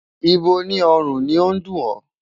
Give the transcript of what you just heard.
Ibo ní ọrùn ni ó dùn ọ́?